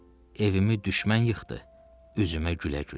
Evimi düşmən yıxdı, üzümə gülə-gülə.